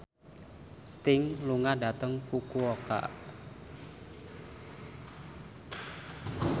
Sting lunga dhateng Fukuoka